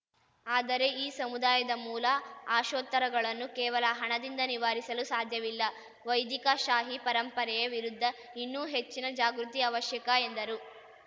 ಆದರೆ ಈ ಸಮುದಾಯದ ಮೂಲ ಆಶೋತ್ತರಗಳನ್ನು ಕೇವಲ ಹಣದಿಂದ ನಿವಾರಿಸಲು ಸಾಧ್ಯವಿಲ್ಲ ವೈದಿಕಶಾಹಿ ಪರಂಪರೆಯ ವಿರುದ್ಧ ಇನ್ನೂ ಹೆಚ್ಚಿನ ಜಾಗೃತಿ ಅವಶ್ಯಕ ಎಂದರು